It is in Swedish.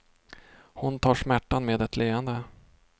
Hon tar smärtan med ett leende.